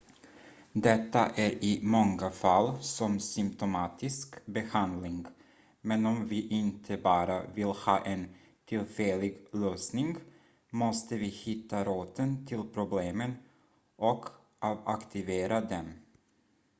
detta är i många fall som symptomatisk behandling men om vi inte bara vill ha en tillfällig lösning måste vi hitta roten till problemen och avaktivera dem